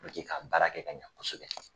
Puruke ka baara kɛ ka ɲɛ kosɛbɛ